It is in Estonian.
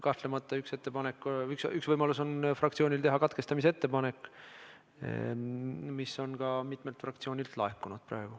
Kahtlemata on üks võimalus teha fraktsioonil katkestamise ettepanek, see on juba mitmelt fraktsioonilt ka laekunud.